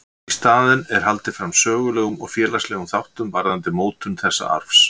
Í staðinn er haldið fram sögulegum og félagslegum þáttum varðandi mótun þessa arfs.